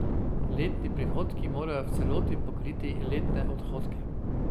Letni prihodki morajo v celoti pokriti letne odhodke.